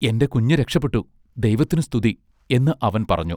എന്റെ കുഞ്ഞ് രക്ഷപ്പെട്ടു ദൈവത്തിനു സ്തുതി" എന്ന് അവൻ പറഞ്ഞു.